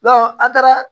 an taara